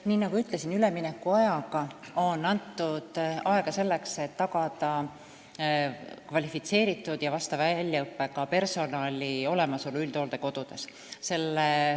Nii nagu ütlesin, üleminekuaeg on antud selleks, et tagada kvalifitseeritud ja vastava väljaõppega personali olemasolu üldhooldekodudes.